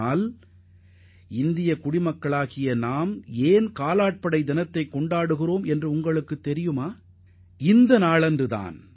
இந்நாளை எதற்காக காலாட்படை தினமாக நாம் கொண்டாடுகிறோம் என்பதை நீங்கள் அறிந்து கொள்ள வேண்டும்